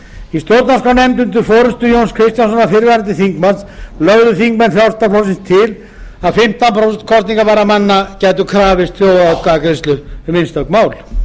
í stjórnarskrárnefnd undir forustu jóns kristjánssonar fyrrverandi þingmanns lögðu þingmenn frjálslynda flokksins til að fimmtán prósent kosningabærra manna gætu krafist þjóðaratkvæðagreiðslu um einstök mál